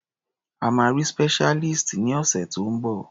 A máa rí specialist ní ọ̀sẹ̀ tó ń bọ̀.